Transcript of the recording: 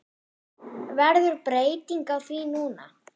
Verður breyting á því núna?